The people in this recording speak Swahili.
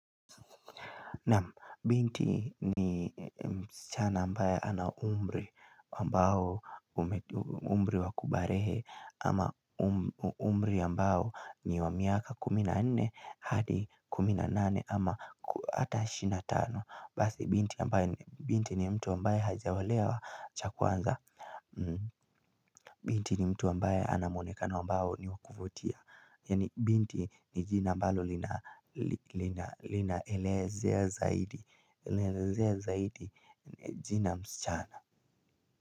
Naam binti ni msichana ambaye ana umri wakubarehe ama umri ambao ni wa miaka kumi na nne hadi kumi na nane ama ata ishirini na tano Basi binti ni mtu ambaye hajaolewa cha kwanza Binti ni mtu ambaye anamwonekano ambao ni wakuvutia Yani binti ni jina ambalo lina elezea zaidi Elezea zaidi jina msichana.